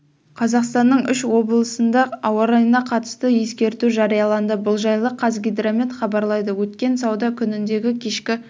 қазақстанның үш облысында ауа райына қатысты ескерту жарияланды бұл жайлы қазгидромет хабарлайды өткен сауда күніндегі кешкі